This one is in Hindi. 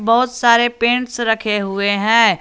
बहुत सारे पेंट्स रखे हुए हैं।